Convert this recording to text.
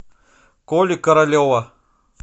коли королева